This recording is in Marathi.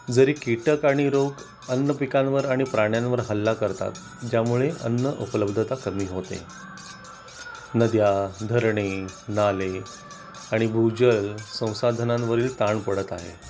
जरी कीटक आणि रोग अन्नपिकांवर आणि प्राण्यांवर हल्ला करतात ज्यामुळे अन्न उपलब्धता कमी होते. नद्या धरणे नाले आणि भूजल संसाधनांवरही ताण पडत आहे